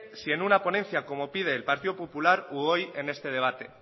si en una ponencia como pide el grupo popular u hoy en este debate